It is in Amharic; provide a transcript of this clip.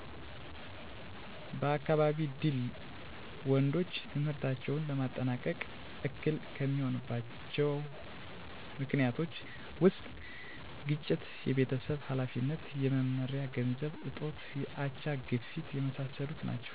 በአካባቢ ድል ወንዶች ትምህርታቸውን ለማጠናቀቅ እክል ከሚሆኑባቸዊ ምክኒቶች ውስጥ ግጭት፣ የቤተሰብ ሀላፊነት፣ የመማሪያ ገንዘብ እጦት፣ የአቻ፣ ግፊት የመሣሠሉት ናቸው።